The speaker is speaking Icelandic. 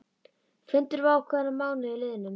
Fundur var ákveðinn að mánuði liðnum.